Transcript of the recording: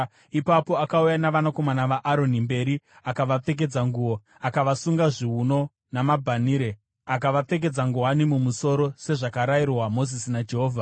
Ipapo akauya navanakomana vaAroni mberi, akavapfekedza nguo, akavasunga zviuno namabhanhire akavapfekedza nguwani mumusoro sezvakarayirwa Mozisi naJehovha.